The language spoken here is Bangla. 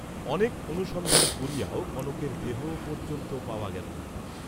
অনেক অনুসন্ধান করিয়াও কনকের দেহ পর্য্যন্ত পাওয়া গেল না।